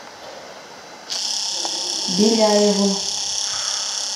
беляевым